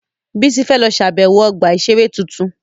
Bísí fẹ́ lọ ṣàbẹ̀wọ̀ ọgbà-ìṣeré tuntun